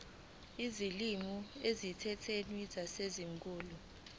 izilimi ezisemthethweni zaseningizimu